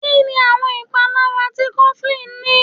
Kínni àwọn ìpalára tí cofflín ní?